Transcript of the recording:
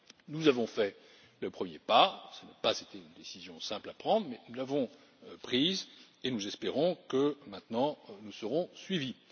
Nous avons fait le premier pas, cela n'a pas été une décision simple à prendre mais nous l'avons prise, et nous espérons que maintenant nous serons suivis.